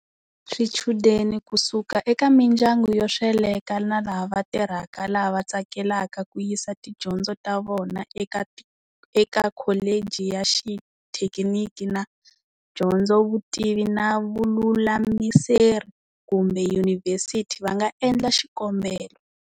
Swichudeni ku suska eka mindyaku yo sweleka na laha va tirhaka lava tsakelaka ku yisa tidyondzo ta vona eka kholeji ya xithekiniki na dyondzovutivi na vululamiseri kumbe Yunivhesiti va nga endla xikombelo.